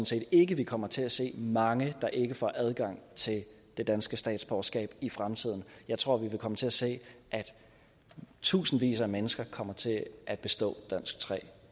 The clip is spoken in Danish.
set ikke vi kommer til at se mange der ikke får adgang til det danske statsborgerskab i fremtiden jeg tror vi vil komme til at se at tusindvis af mennesker kommer til at bestå dansk tre